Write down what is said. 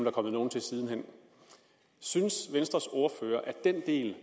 er kommet nogle til siden hen synes venstres ordfører at den del